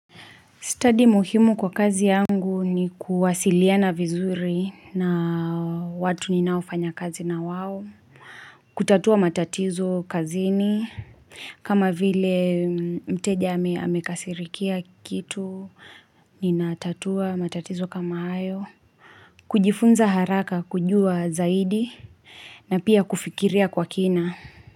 Study muhimu kwa kazi yangu ni kuwasiliana vizuri na watu ninaofanya kazi na wao. Kutatua matatizo kazini. Kama vile mteja amekasirikia kitu, ninatatua matatizo kama hayo. Kujifunza haraka kujua zaidi na pia kufikiria kwa kina.